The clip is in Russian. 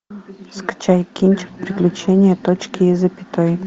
скачай кинчик приключение точки и запятой